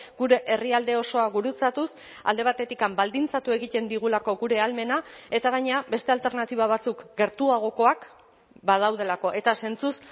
gure herrialde osoa gurutzatuz alde batetik baldintzatu egiten digulako gure ahalmena eta gainera beste alternatiba batzuk gertuagokoak badaudelako eta zentzuz